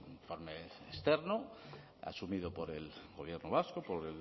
informe externo asumido por el gobierno vasco por